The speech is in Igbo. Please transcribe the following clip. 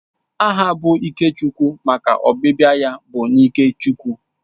Aha bụ Ikechukwu maka ọbịbịa ya bụ n'ike Chukwu